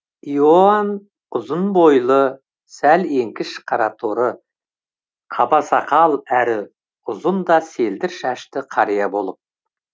иоанн ұзын бойлы сәл еңкіш қараторы қабасақал әрі ұзын да селдір шашты қария болып